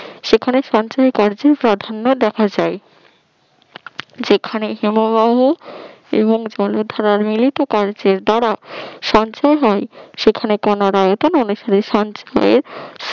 সেখানে সঞ্চয়কার্য প্রাধান্য দেখা যায় যেখানে হিমবাহ এবং জলধারা মিলিত কার্যের দ্বারা সঞ্চয় হয় সেখানে